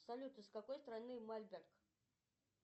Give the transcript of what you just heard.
салют из какой страны мольберт